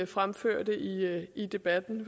fremførte i debatten